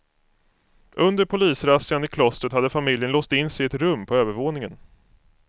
Under polisrazzian i klostret hade familjen låst in sig i ett rum på övervåningen.